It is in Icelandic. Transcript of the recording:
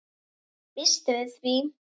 Ég býst við því!